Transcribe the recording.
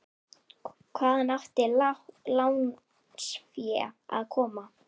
Hvaðan átti lánsfé að koma?